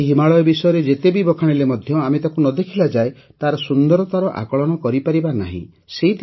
କେହି ହିମାଳୟ ବିଷୟରେ ଯେତେ ବି ବଖାଣିଲେ ମଧ୍ୟ ଆମେ ତାକୁ ନ ଦେଖିଲାଯାଏଁ ତାର ସୁନ୍ଦରତାର ଆକଳନ କରିପାରିବା ନାହିଁ